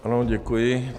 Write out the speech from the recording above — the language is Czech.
Ano, děkuji.